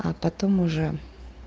а потом уже